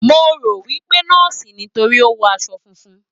Mo rò wí pé nọ́ọ̀sì ni, nítorí ó wọ aṣọ funfun.